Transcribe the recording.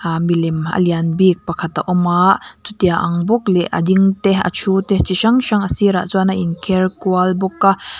aa milem a lian bik pakhat a awm a chutia ang bawk leh a ding te a ṭhu te chi hrang hrang a sir ah chuan a in kher kual bawk a.